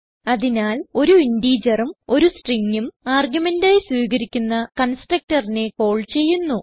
അതിനാൽ ഒരു integerഉം ഒരു Stringഉം ആർഗുമെന്റ് ആയി സ്വീകരിക്കുന്ന constructorനെ കാൾ ചെയ്യുന്നു